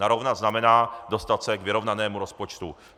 Narovnat znamená dostat se k vyrovnanému rozpočtu.